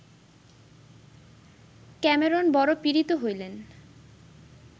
Cameron বড় পীড়িত হইলেন